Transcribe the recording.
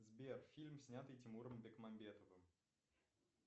сбер фильм снятый тимуром бекмамбетовым